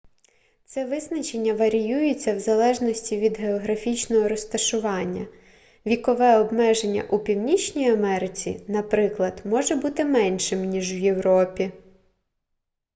це визначення варіюється в залежності від географічного розташування вікове обмеження у північній америці наприклад може бути меншим ніж у європі